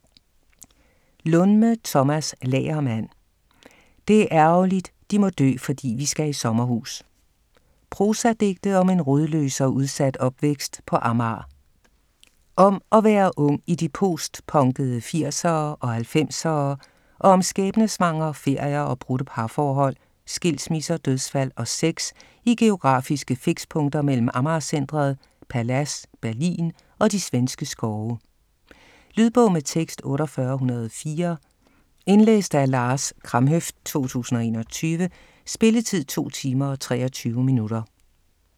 Lundme, Tomas Lagermand: Det er ærgerligt de må dø fordi vi skal i sommerhus Prosadigte om en rodløs og udsat opvækst på Amager. Om at være ung i de postpunkede 80'ere og 90'ere og om skæbnesvangre ferier og brudte parforhold, skilsmisser, dødsfald og sex i geografiske fikspunkter mellem Amager Centret, Palads, Berlin og de svenske skove. Lydbog med tekst 48104 Indlæst af Lars Kramhøft, 2021. Spilletid: 2 timer, 23 minutter.